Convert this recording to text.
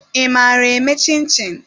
ị maara eme chin-chin?